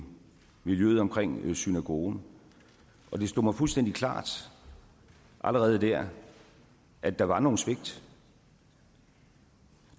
miljøet omkring synagogen og det stod mig fuldstændig klart allerede der at der var nogle svigt